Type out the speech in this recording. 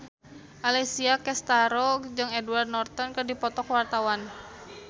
Alessia Cestaro jeung Edward Norton keur dipoto ku wartawan